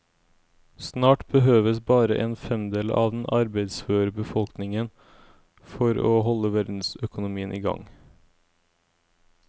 Snart behøves bare en femdel av den arbeidsføre befolkningen for å holde verdensøkonomien i gang.